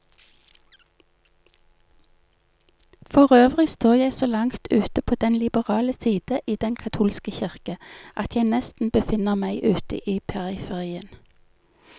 Forøvrig står jeg så langt ute på den liberale side i den katolske kirke, at jeg nesten befinner meg ute i periferien.